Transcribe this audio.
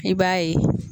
I b'a ye